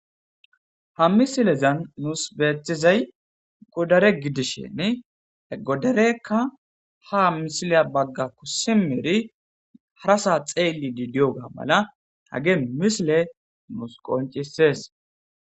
Ha misilezan nus beeththizay godare gidishiini he godareekka haa misiliya baggakko simmidi harasaa xeelliiddi diyoogaa mala hagee misilee nus qonccissees.